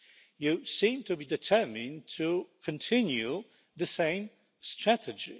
You seem to be determined to continue the same strategy.